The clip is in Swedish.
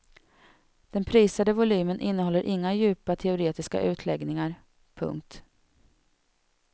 Den prisade volymen innehåller inga djupa teoretiska utläggningar. punkt